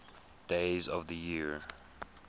days of the year